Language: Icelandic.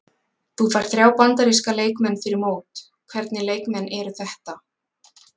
Þú færð þrjá Bandaríska leikmenn fyrir mót, hvernig leikmenn eru þetta?